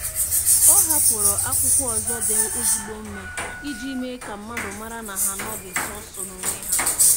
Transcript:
Ọ hapụrụ akwụkwọ ozi dị ezigbo mma iji mee ka mmadụ mara na ha anoghị sọọsọ n'onwe ha.